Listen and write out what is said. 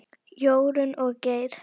Jórunn og Geir.